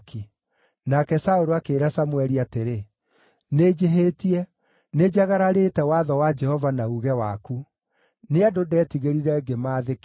Nake Saũlũ akĩĩra Samũeli atĩrĩ, “Nĩnjĩhĩtie. Nĩnjagararĩte watho wa Jehova na uuge waku. Nĩ andũ ndeetigĩrire ngĩkĩmaathĩkĩra.